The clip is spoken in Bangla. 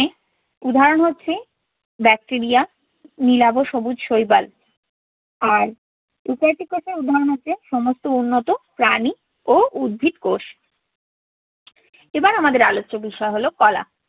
উদাহরণ হচ্ছে ব্যাকটেরিয়া, নীলাভ সবুজ শৈবাল আর eukaryotic কোষের উদাহরণ হচ্ছে সমস্ত উন্নত প্রাণী ও উদ্ভিদ কোষ। এবার আমাদের আলোচ্য বিষয় হলো কলা।